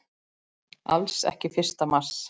Alls ekki fyrsta mars!